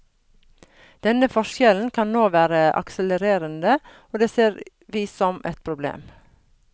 Denne forskjellen kan nå være akselererende, og det ser vi som et problem.